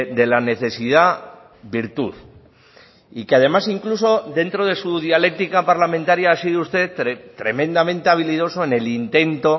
de la necesidad virtud y que además incluso dentro de su dialéctica parlamentaria ha sido usted tremendamente habilidoso en el intento